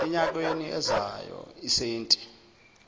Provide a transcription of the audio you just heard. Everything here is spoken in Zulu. enyakeni ozayo isenti